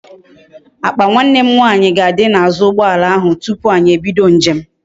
Akpa nwanne nwanyi ga adi na azu ugboala ahu tupu anyi ebido njem